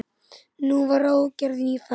Nú var ráðgerð ný ferð.